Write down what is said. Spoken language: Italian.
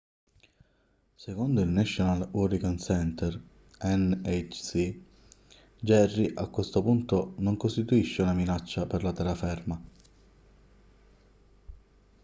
secondo il national hurricane center nhc jerry a questo punto non costituisce una minaccia per la terraferma